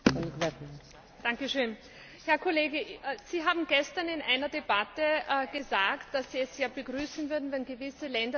Herr Kollege! Sie haben gestern in einer Debatte gesagt, dass Sie es sehr begrüßen würden, wenn gewisse Länder den Euroraum verlassen würden.